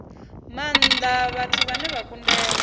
maanda vhathu vhane vha kundelwa